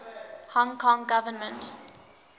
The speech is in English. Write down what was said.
hong kong government